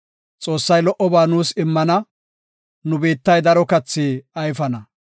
Xoossay lo77oba nuus immana; nu biittay daro kathi ayfana.